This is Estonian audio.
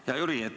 Hea Jüri!